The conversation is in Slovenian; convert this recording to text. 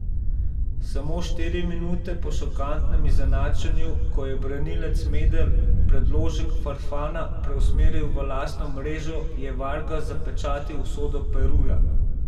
Samo štiri minute po šokantnem izenačenju, ko je branilec Medel predložek Farfana preusmeril v lastno mrežo je Vargas zapečatil usodo Peruja.